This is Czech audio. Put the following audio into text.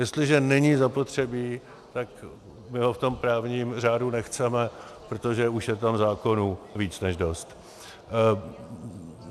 Jestliže není zapotřebí, tak my ho v tom právním řádu nechceme, protože už je tam zákonů více než dost.